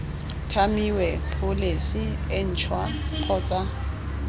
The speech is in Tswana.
tlhamiwe pholesi e ntšhwa kgotsa